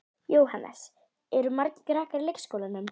Jóhannes: Eru margir krakkar í leikskólanum?